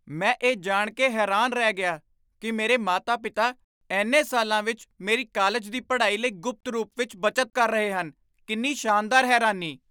ਮੈਂ ਇਹ ਜਾਣ ਕੇ ਹੈਰਾਨ ਰਹਿ ਗਿਆ ਕੀ ਮੇਰੇ ਮਾਤਾ ਪਿਤਾ ਇੰਨੇ ਸਾਲਾਂ ਵਿੱਚ ਮੇਰੀ ਕਾਲਜ ਦੀ ਪੜ੍ਹਾਈ ਲਈ ਗੁਪਤ ਰੂਪ ਵਿੱਚ ਬੱਚਤ ਕਰ ਰਹੇ ਹਨ ਕਿੰਨੀ ਸ਼ਾਨਦਾਰ ਹੈਰਾਨੀ!